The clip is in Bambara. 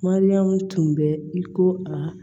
Mariyamu tun bɛ i ko aa